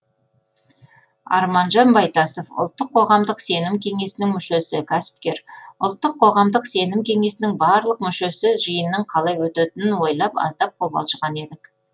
арманжан байтасов ұлттық қоғамдық сенім кеңесінің мүшесі кәсіпкер ұлттық қоғамдық сенім кеңесінің барлық мүшесі жиынның қалай өтетінін ойлап аздап қобалжыған едік